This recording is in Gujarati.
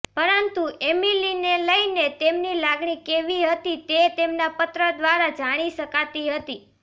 પરંતુ એમીલીને લઈને તેમની લાગણી કેવી હતી તે તેમના પત્ર દ્રારા જાણી શકાતી હતી